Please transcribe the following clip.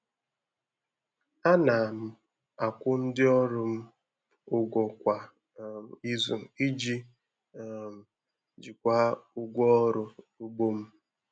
Ana m akwụ ndị ọrụ m ụgwọ kwa um izu iji um jikwaa ụgwọ ọrụ ugbo m